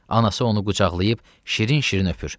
Anası onu qucaqlayıb şirin-şirin öpür.